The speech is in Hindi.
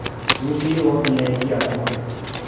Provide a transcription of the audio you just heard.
दूसरी ओर न्याय की आत्मा